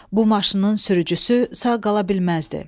Bu maşının sürücüsü sağ qala bilməzdi.